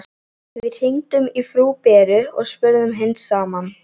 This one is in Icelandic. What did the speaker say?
Við hringdum í frú Beru og spurðum hins sama.